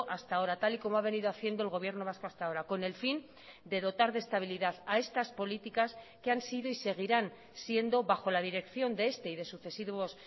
hasta ahora tal y como ha venido haciendo el gobierno vasco hasta ahora con el fin de dotar de estabilidad a estas políticas que han sido y seguirán siendo bajo la dirección de este y de sucesivos